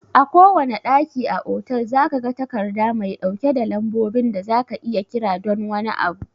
A kowanne ɗaki a otal, zaka ga takarda mai ɗauke da lambobin da zaka iya kira don wani abu